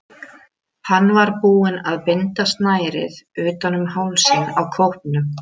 Hann var búinn að binda snærið utan um hálsinn á kópnum.